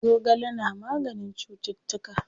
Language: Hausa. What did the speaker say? Zogale na maganin cuttutuka.